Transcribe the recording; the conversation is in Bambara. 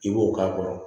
I b'o k'a kɔrɔ